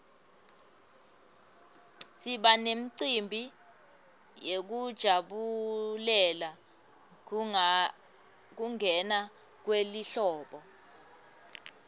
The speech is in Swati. siba nemicimbi yekujabulela kungena kwelihlobo